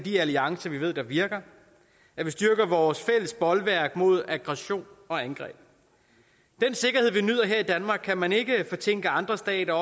de alliancer vi ved virker at vi styrker vores fælles bolværk mod aggression og angreb den sikkerhed vi nyder her i danmark kan man ikke fortænke andre stater